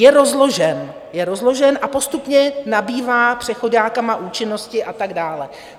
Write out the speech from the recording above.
Je rozložen a postupně nabývá přechoďákama účinnosti a tak dále.